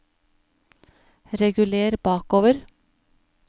reguler bakover